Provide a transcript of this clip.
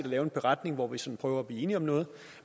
lave en beretning hvor vi set prøver at blive enige om noget